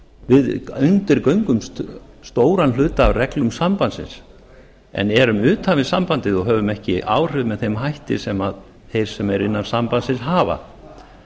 við undirgöngumst stóran hluta af reglum sambandsins en erum utan við sambandið og höfum ekki áhrif með þeim hætti sem þeir sem eru innan sambandsins hafa